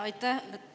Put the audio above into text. Aitäh!